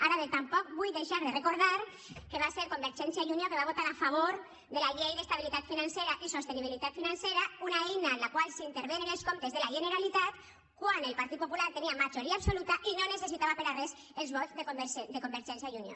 ara bé tampoc vull deixar de recordar que va ser convergència i unió que va votar a favor de la llei d’estabilitat financera i sostenibilitat financera una eina amb la qual s’intervenen els comptes de la generalitat quan el partit popular tenia majoria absoluta i no necessitava per a res els vots de convergència i unió